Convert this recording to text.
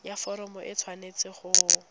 ya foromo e tshwanetse go